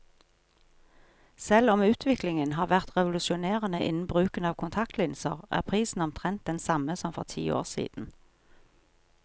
Selv om utviklingen har vært revolusjonerende innen bruken av kontaktlinser, er prisen omtrent den samme som for ti år siden.